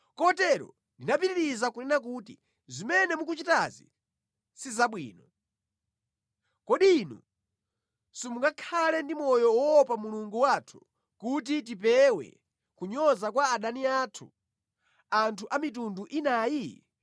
Kotero ndinapitiriza kunena kuti, “Zimene mukuchitazi si zabwino. Kodi inu simungakhale ndi moyo woopa Mulungu wathu kuti tipewe kunyoza kwa adani athu, anthu a mitunda inayi?